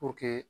Puruke